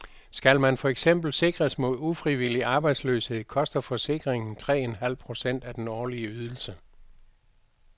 Skal man for eksempel sikres mod ufrivillig arbejdsløshed, koster forsikringen tre en halv procent af den årlige ydelse.